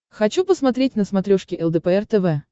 хочу посмотреть на смотрешке лдпр тв